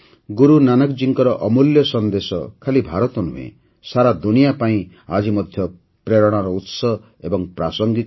ଗୁରୁ ନାନକଜୀଙ୍କ ଅମୂଲ୍ୟ ସନ୍ଦେଶ ଖାଲି ଭାରତ ନୁହେଁ ସାରା ଦୁନିଆ ପାଇଁ ଆଜି ମଧ୍ୟ ପ୍ରେରଣାର ଉତ୍ସ ଏବଂ ପ୍ରାସଙ୍ଗିକ ମଧ୍ୟ